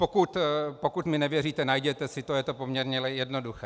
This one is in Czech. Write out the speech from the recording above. Pokud mi nevěříte, najděte si to, je to poměrně jednoduché.